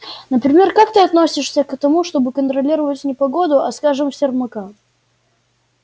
например как ты относишься к тому чтобы контролировать не погоду а скажем сермака